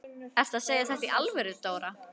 Ertu að segja þetta í alvöru, Dóra?